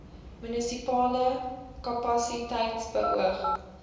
munisipale kapasiteit beoog